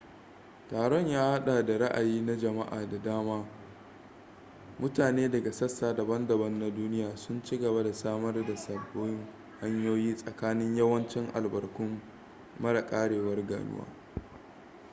taron na hada da raayi na jamaa da sama mutane daga sassa daban-daban na duniya sun ci gaba da samar da sababin hanyoyi tsakanin yawancin albarkun mara karewar ganuwan